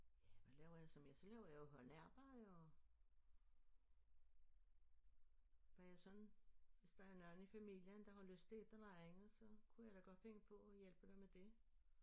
Ja hvad laver jeg så mere så laver jeg jo håndarbejde og hvad jeg sådan hvis der er nogle i familien der har lyst til et eller andet så kunne jeg da godt finde på at hjælpe dem med det